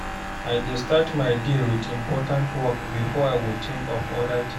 I dey start my day with important work before I think of other things.